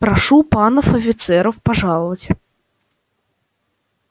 прошу панов офицеров пожаловать